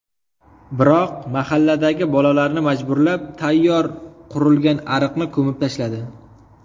Biroq, mahalladagi bolalarni majburlab, tayyor qurilgan ariqni ko‘mib tashladi.